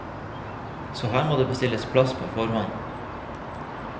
Så her må det bestilles plass på forhånd.